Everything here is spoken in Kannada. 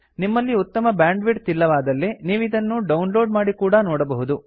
ನಿಮ್ಮಲ್ಲಿ ಉತ್ತಮ ಬ್ಯಾಂಡ್ವಿಡ್ಥ್ ಇಲ್ಲವಾದಲ್ಲಿ ನೀವಿದನ್ನು ಡೌನ್ಲೋಡ್ ಮಾಡಿ ಕೂಡಾ ನೋಡಬಹುದು